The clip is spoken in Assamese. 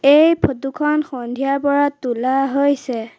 এই ফটো খন সন্ধিয়াৰ পৰা তোলা হৈছে।